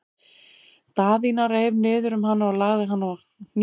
Daðína reif niður um hana og lagði hana á hné sér.